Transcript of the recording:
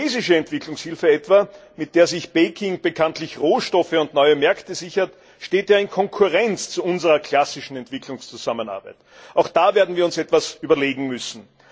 Die chinesische Entwicklungshilfe etwa, mit der sich Peking bekanntlich Rohstoffe und neue Märkte sichert, steht in Konkurrenz zu unserer klassischen Entwicklungszusammenarbeit, auch da werden wir uns etwas überlegen müssen.